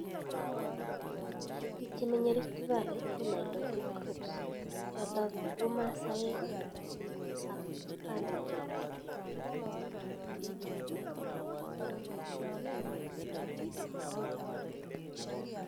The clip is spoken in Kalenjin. Bik Chemenye Rift valley ko nailotik groups choton ko komasaek ak kalenjin